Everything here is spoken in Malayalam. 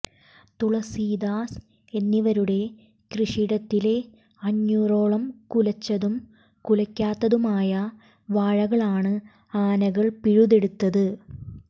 തുളസീദാസ് എന്നിവരുടെ കൃഷിയിടത്തിലെ അഞ്ഞൂറോളം കുലച്ചതും കുലയ്ക്കാത്തതുമായ വാഴകളാണ് ആനകൾ പിഴുതെടുത്തത്